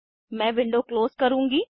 मैं window close करुँगी